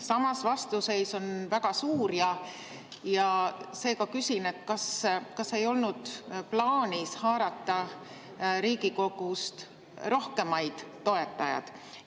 Samas, vastuseis on väga suur ja seega küsin, kas ei olnud plaanis haarata Riigikogust rohkem toetajaid.